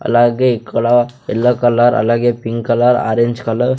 అలాగే ఇక్కడ yellow colour అలాగే పింక్ కలర్ ఆరెంజ్ కలర్ .